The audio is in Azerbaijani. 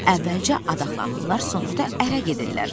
Əvvəlcə adaxlanırlar, sonra da ərə gedirlər.